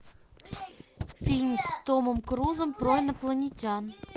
фильм с томом крузом про инопланетян